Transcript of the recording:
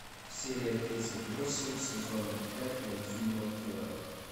серия тридцать восемь сезона пять мультфильма порох